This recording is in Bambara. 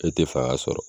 E tɛ fanga sɔrɔ